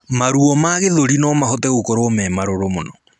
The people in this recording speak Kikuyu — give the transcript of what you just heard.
Maruo ma gĩthũri nomahote gũkorwo me marũrũ mũno